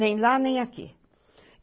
Nem lá, nem aqui.